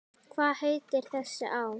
Hvað heitir þessi á?